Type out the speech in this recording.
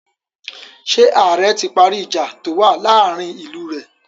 Ṣé ààrẹ ti parí ìjà tó wà láàárin ìlú rẹ̀?